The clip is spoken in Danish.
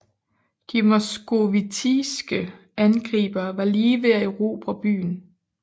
De moskovitiske angribere var lige ved at erobre byen